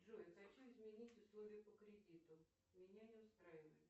джой хочу изменить условия по кредиту меня не устраивает